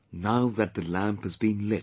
Now that the lamp has been lit